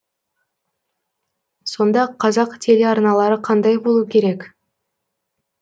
сонда қазақ телеарналары қандай болу керек